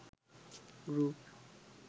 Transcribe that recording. group